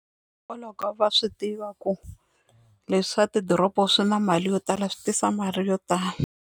Hikwalaho ko va swi tiva ku leswi swa ti doroba swi na mali yo tala swi tisa mali yo tala.